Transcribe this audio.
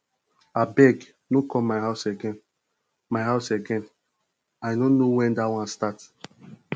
abeg no come my house again my house again i no know wen dat one start